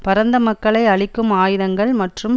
பரந்த மக்களை அழிக்கும் ஆயுதங்கள் மற்றும்